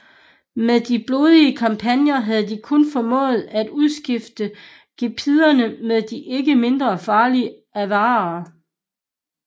Med en blodig kampagne havde de kun formået at udskifte gepiderne med de ikke mindre farlige avarere